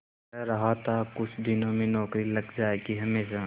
कह रहा था कुछ दिनों में नौकरी लग जाएगी हमेशा